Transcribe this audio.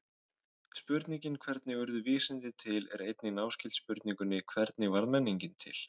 Spurningin hvernig urðu vísindi til er einnig náskyld spurningunni hvernig varð menningin til?